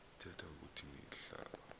ithethe ukuthi ihlaba